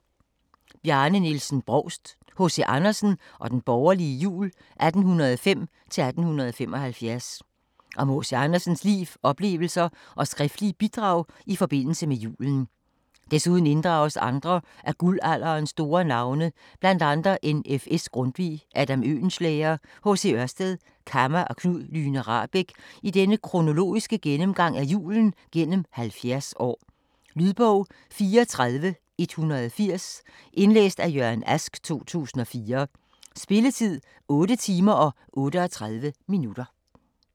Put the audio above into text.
Brovst, Bjarne Nielsen: H.C. Andersen og den borgerlige jul: 1805-1875 Om H.C. Andersens liv, oplevelser og skriftlige bidrag i forbindelse med julen. Desuden inddrages andre af guldalderens store navne, bl.a. N.F.S. Grundtvig, Adam Oehlenschlæger, H.C. Ørsted, Kamma og Knud Lyhne Rahbek i denne kronologiske gennemgang af julen gennem 70 år. Lydbog 34180 Indlæst af Jørgen Ask, 2004. Spilletid: 8 timer, 38 minutter.